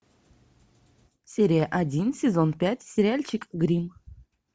серия один сезон пять сериальчик гримм